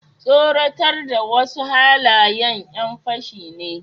tsoratar da wasu halayen yan fashi ne